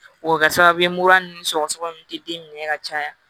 O bɛ kɛ sababu ye mura ninnu sɔgɔsɔgɔ ninnu tɛ den minɛ ka caya